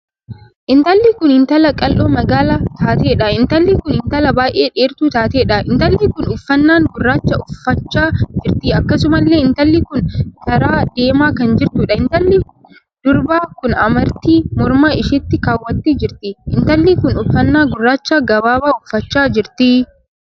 Intalli kun intala qal'oo magaala taateedha. intalli kun intala baay'ee dheertuu taateedha. intalli kun uffannaan gurraacha uffachaa jirti. akkasumallee intalli kun karaa deemaa kan jirtuudha. intalli durbaa kun amartii morma isheetti kaawwattee jirti. intalli kun uffannaa gurracha gabaabaa uffachaa jirti.